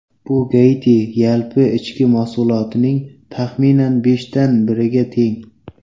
Bu Gaiti yalpi ichki mahsulotining taxminan beshdan biriga teng.